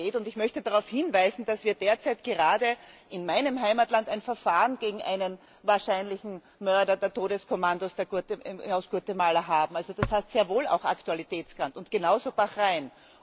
Und ich möchte darauf hinweisen, dass wir derzeit gerade in meinem Heimatland ein Verfahren gegen einen wahrscheinlichen Mörder der Todeskommandos aus Guatemala haben. Das hat sehr wohl auch Aktualitätswert Und genauso Bahrain!